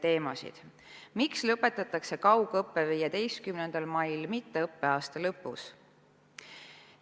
Esiteks, miks lõpetatakse kaugõpe 15. mail, mitte õppeaasta lõpus?